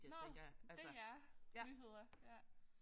Nåh DR Nyheder ja